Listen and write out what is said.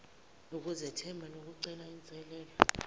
ukuzethemba nokucela inselele